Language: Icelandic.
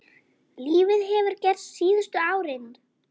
Lítið hefur gerst síðustu árin.